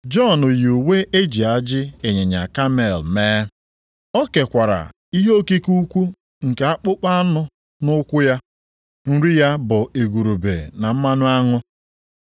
Jọn yi uwe e ji ajị ịnyịnya kamel mee. O kekwara ihe okike ukwu nke akpụkpọ anụ nʼukwu ya. Nri ya bụ igurube na mmanụ aṅụ.